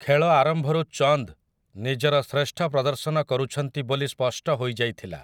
ଖେଳ ଆରମ୍ଭରୁ ଚନ୍ଦ୍ ନିଜର ଶ୍ରେଷ୍ଠ ପ୍ରଦର୍ଶନ କରୁଛନ୍ତି ବୋଲି ସ୍ପଷ୍ଟ ହୋଇଯାଇଥିଲା ।